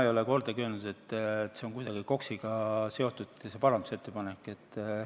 Ma ei ole kordagi öelnud, et see parandusettepanek on kuidagi KOKS-iga seotud.